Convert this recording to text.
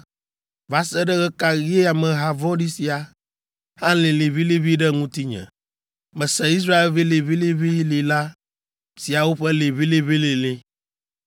“Va se ɖe ɣe ka ɣie ameha vɔ̃ɖi sia alĩ liʋĩliʋĩ ɖe ŋutinye? Mese Israelvi liʋĩliʋĩlĩla siawo ƒe liʋĩliʋĩlilĩ.